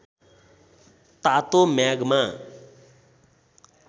तातो म्याग्मा